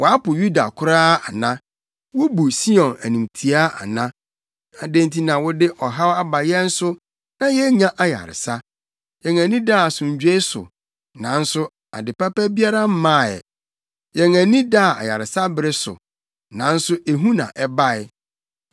Woapo Yuda koraa ana? Wubu Sion animtiaa ana? Adɛn nti na wode ɔhaw aba yɛn so na yennya ayaresa? Yɛn ani daa asomdwoe so, nanso ade papa biara mmaa ɛ; yɛn ani daa ayaresa bere so nanso ehu na ɛbae.